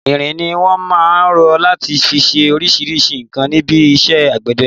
Irin ni wọn máà ń rọ láti fi ṣe oríṣríṣi nǹkan níbi iṣẹ́ àgbẹ̀dẹ.